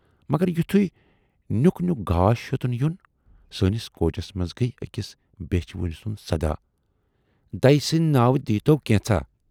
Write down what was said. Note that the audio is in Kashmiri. مگر یُتھُے نیُک نیُک گاش ہیوتُن یُن، سٲنِس کوچَس منز گٔیہِ ٲکِس بیچھِ وٕنۍ سُند صدا"دَیہِ سٕندۍ ناوٕ دیٖی تو کینژھا"۔